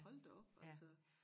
Hold da op altså